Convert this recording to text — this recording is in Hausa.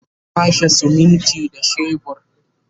za'a kwashe siminti da shebur